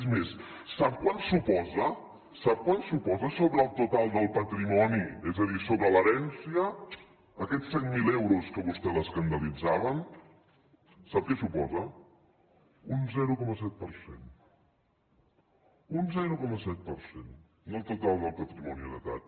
és més sap quant suposa sobre el total del patrimoni és a dir sobre l’herència aquests cent mil euros que a vostè l’escandalitzaven sap què suposen un zero coma set per cent un zero coma set per cent del total del patrimoni heretat